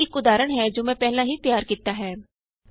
ਇਥੇ ਇਕ ਉਦਾਹਰਣ ਹੈ ਜੋ ਮੈਂ ਪਹਿਲਾਂ ਹੀ ਤਿਆਰ ਕੀਤਾ ਹੈ